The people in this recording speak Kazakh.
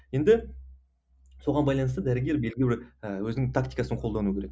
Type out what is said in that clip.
енді соған байланысты дәрігер белгілі бір ііі өзінің тактикасын қолдану керек